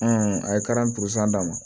a ye d'a ma